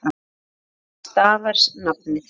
Af því stafar nafnið.